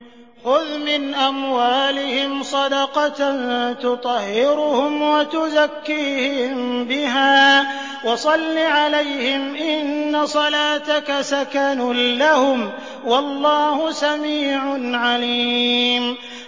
خُذْ مِنْ أَمْوَالِهِمْ صَدَقَةً تُطَهِّرُهُمْ وَتُزَكِّيهِم بِهَا وَصَلِّ عَلَيْهِمْ ۖ إِنَّ صَلَاتَكَ سَكَنٌ لَّهُمْ ۗ وَاللَّهُ سَمِيعٌ عَلِيمٌ